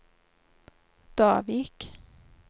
Davik